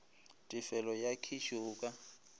tefelo ya kheše o ka